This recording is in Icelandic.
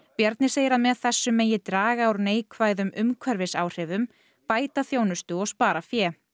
Bjarni segir að með þessu megi draga úr neikvæðum umhverfisáhrifum bæta þjónustu og spara fé